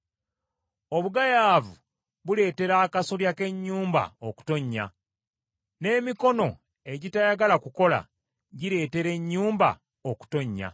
Obugayaavu buleetera akasolya k’ennyumba okutonnya, n’emikono egitayagala kukola gireetera ennyumba okutonnya.